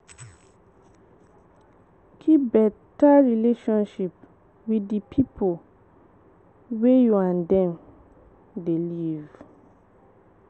Keep better relationship with di pipo wey you and dem dey live